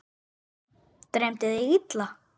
Dreymdi þig illa?